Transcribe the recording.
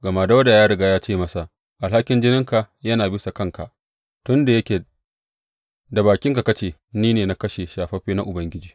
Gama Dawuda ya riga ya ce masa, Alhakin jininka yana bisa kanka tun da yake da bakinka ka ce, Ni ne na kashe shafaffe na Ubangiji.’